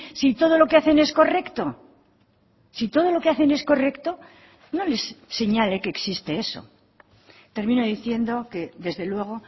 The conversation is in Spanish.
si todo lo que hacen es correcto si todo lo que hacen es correcto no les señale que existe eso termino diciendo que desde luego